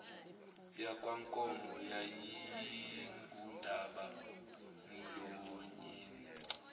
yakwankomo yayingundaba mlonyeni